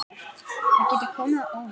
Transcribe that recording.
Það getur komið á óvart.